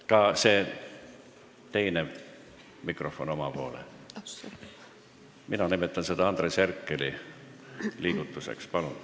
Palun sättige ka see teine mikrofon rohkem oma poole, mina nimetan seda Andres Herkeli liigutuseks!